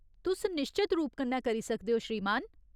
तुस निश्चत रूप कन्नै करी सकदे ओ, श्रीमान।